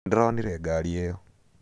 Nĩndĩronire ngari ĩyo.